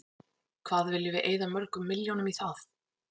Hvað viljum við eyða mörgum milljónum í það?